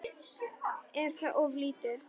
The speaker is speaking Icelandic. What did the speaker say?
Er það of lítið?